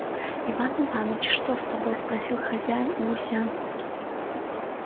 иван иваныч что с тобой спросил хозяин у гуся